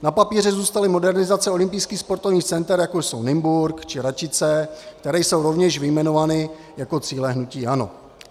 Na papíře zůstaly modernizace olympijských sportovních center, jako jsou Nymburk či Račice, které jsou rovněž vyjmenovány jako cíle hnutí ANO.